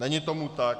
Není tomu tak.